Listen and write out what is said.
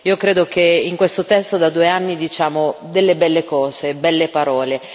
Io credo che in questo testo, da due anni, diciamo delle belle cose, belle parole.